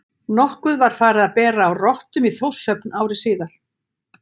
Nokkuð var farið að bera á rottum í Þórshöfn ári síðar.